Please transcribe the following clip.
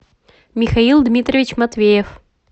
михаил дмитриевич матвеев